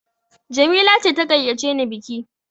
Jamila ce ta gayyace ni biki!